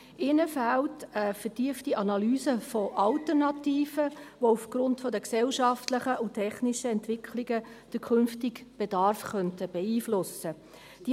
Ihr fehlt eine vertiefte Analyse von Alternativen, die aufgrund der gesellschaftlichen und technischen Entwicklungen den künftigen Bedarf beeinflussen könnten.